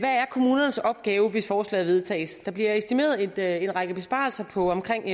kommunernes opgave hvis forslaget vedtages der bliver estimeret en række besparelser på omkring